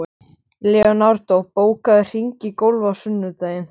Leonardó, bókaðu hring í golf á sunnudaginn.